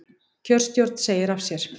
Kjörstjórn segir af sér